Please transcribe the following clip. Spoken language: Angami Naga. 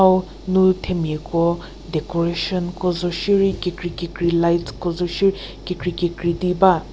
hau nu themiako decoration ko zo shie rei kekri kekri lights ko zo shie rei kekri kekri di ba.